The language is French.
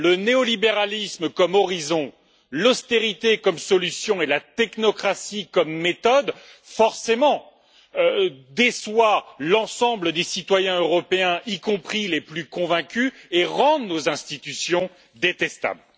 Le néolibéralisme comme horizon, l'austérité comme solution et la technocratie comme méthode déçoivent forcément l'ensemble des citoyens européens, y compris les plus convaincus, et rendent nos institutions détestables.